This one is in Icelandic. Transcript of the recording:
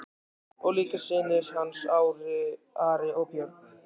Og líka synir hans, Ari og Björn.